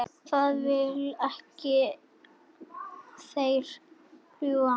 Þeir velta ekki, þeir fljúga.